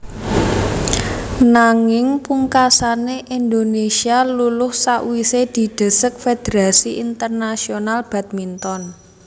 Nanging pungkasané Indonésia luluh sawisé didesek Fédérasi Internasional Badminton